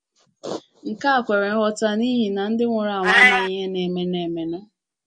Nke a kwere nghọta n’ihi na ndị nwụrụ anwụ amaghị ihe na - emenụ emenụ.